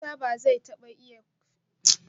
Musa ba zai taba iya fin karfin rayuwar titi ba